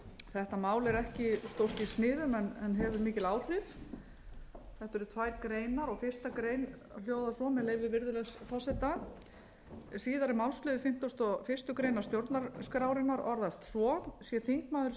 þetta mál er ekki stórt í sniðum en hefur mikil áhrif þetta eru tvær greinar og fyrsta grein hljóðar svo með leyfi virðulegs forseta síðari málsliður fimmtugasta og fyrstu grein stjórnarskrárinnar orðast svo sé þingmaður